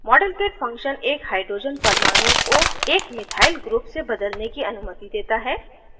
modelkit function एक hydrogen परमाणु को एक methyl group से बदलने की अनुमति देता है